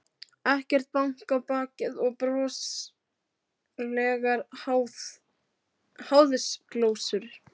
Ekkert bank á bakið og broslegar háðsglósur.